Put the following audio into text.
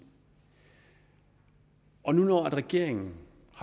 og nu har regeringen